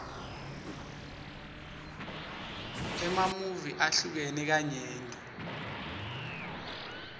emamuvi ahlukene kanyenti